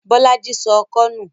Bọ́lá í sọ ọkọ́ nù.